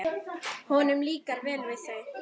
Honum líkar vel við þau.